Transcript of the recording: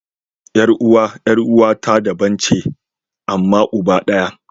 Yar uwa 'yar uwa ta daban ce amma uba ɗaya.